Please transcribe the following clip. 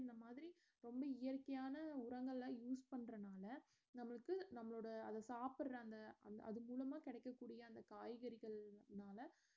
இந்த மாதிரி ஒண்ணு இயற்கையான உரங்கள use பண்றதுனால நம்மளுக்கு நம்மளோட அது சாப்புடறாங்க அது அது மூலமா கிடைக்கக்கூடிய அந்த காய்கறிகள்னால